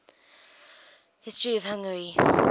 history of hungary